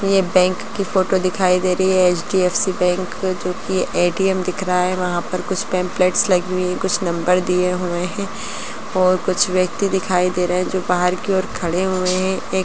ये बैंक की फोटो दिखाई दे रही हैं एच.डी.एफ.सी. बैंक जो की ए.टी.एम. दिख रहा है | वहाँ पर कुछ पम्फ्लेट्स लगी हुयी है कुछ नम्बर दिए हुए हैं और कुछ व्यक्ति दिखाई दे रहे हैं जो बाहर की ओर खड़े हुए हैं। एक --